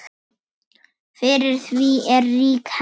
Fyrir því er rík hefð.